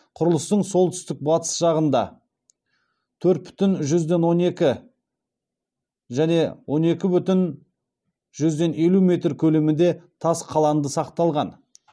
құрылыстың солтүстік батыс жағында төрт бүтін жүзден он екі және он екі бүтін жүзден елу метр көлемінде тас қаланды сақталған